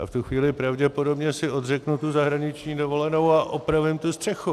Já v tuto chvíli pravděpodobně si odřeknu tu zahraniční dovolenou a opravím tu střechu.